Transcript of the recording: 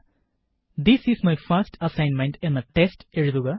001105 001104 this is my first assignment എന്ന test എഴുതുക